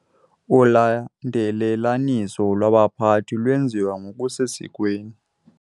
Ulandelelaniso lwabaphathi lwenziwe ngokusesikweni.